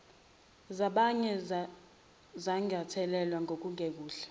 zabanye zingathelelwa ngokungekuhle